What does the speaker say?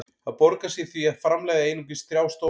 Það borgar sig því að framleiða einungis þrjá stóla.